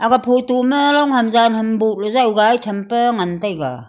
aga photo ma long ham yan ham buh ley gai tham pa ngan taega.